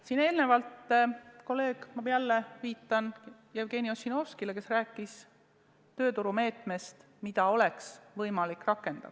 Siin eelnevalt kolleeg – ma jälle viitan Jevgeni Ossinovskile – rääkis tööturumeetmest, mida oleks võimalik rakendada.